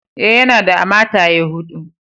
Eh, yana da a mataye hudu.